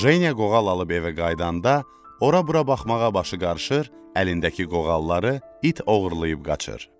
Jeniya qoğal alıb evə qayıdanda, ora-bura baxmağa başı qarışır, əlindəki qoğalları it oğurlayıb qaçır.